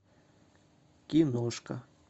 киношка